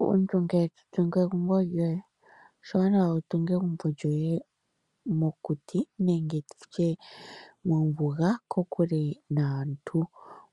Omuntu ngele to tungu egumbo lyoye oshiwanawa wutunge egumbo lyoye mokuti nenge mombuga kokule naantu.